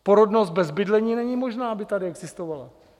Porodnost bez bydlení není možná, aby tady existovala.